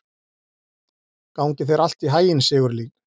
Gangi þér allt í haginn, Sigurlín.